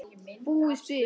Búið spil.